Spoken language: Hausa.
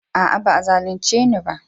Aa, ba'a zalunce ni.